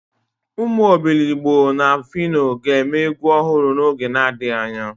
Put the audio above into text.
Umu Obiligbo na Fino ga-eme egwu ohuru n'oge adighi anya.